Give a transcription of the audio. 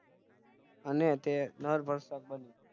અને તે નરભક્ષક બન્યો